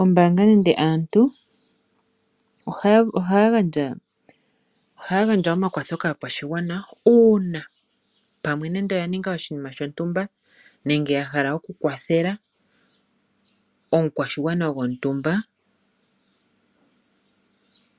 Ombaanga nenge aantu ohaya gandja omakwatho kaakwashigwana uuna pamwe nenge oyaninga oshinima shontumba nenge ya hala okukwathela omukwashigwana gontumba